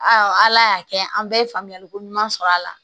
ala y'a kɛ an bɛɛ ye faamuyaliko ɲuman sɔrɔ a la